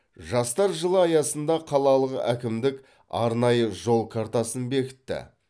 жастар жылы аясында қалалық әкімдік арнайы жол картасын бекітті